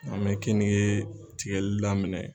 An mɛ kenige tigɛli daminɛ.